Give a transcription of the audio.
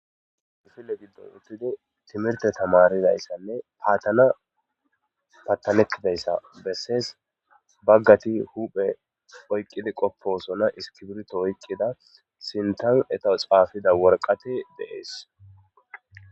ifille giddon uttidi timirte tamaridayssanne paattana pattanekidayssa bessees baggati huphe oyqqidi qopposona iskibirto oyqqida sintan etowo xaafida worqati deees